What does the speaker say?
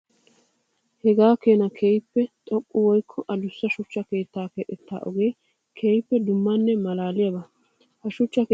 Hagaa keena keehippe xoqqa woykko adussa shuchcha keetta keexxetta ogee keehippe dummanne malaaliyaaga. Ha shuchcha keetta heeraykka asi de'anawu haaya giidi xeeges.